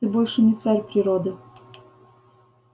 ты больше не царь природы